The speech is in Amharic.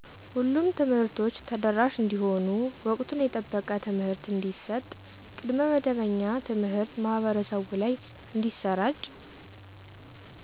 ሁሉም ትምህርቶች ተደራሽ እንዲሆኑ ወቅቱን የጠበቀ ትምህርት እንዲሰጥ ቅድመ መደበኛ ትምሀርት ማህበረሰቡ ላይ እንዲሰራጭ